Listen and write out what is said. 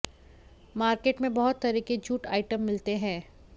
market में बहुत तरह के जूट आइटम मिलते हैं